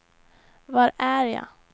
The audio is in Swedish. var är jag